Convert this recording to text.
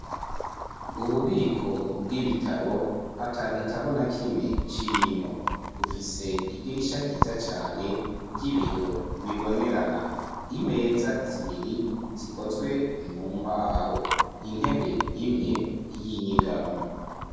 Ububiko bw'ibitabo ata gitabo na kimwe kirimwo bufise idirisha ryiza cane ry'ibiyo bibonerana imeza zibiri zikozwe mu mbaho intebe imwe y'inyigamu.